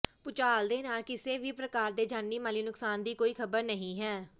ਭੂਚਾਲ ਦੇ ਨਾਲ ਕਿਸੇ ਵੀ ਪ੍ਰਕਾਰ ਦੇ ਜਾਨੀ ਮਾਲੀ ਨੁਕਸਾਨ ਦੀ ਕੋਈ ਖਬਰ ਨਹੀਂ ਹੈ